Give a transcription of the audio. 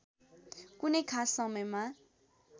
कुनै खास समयमा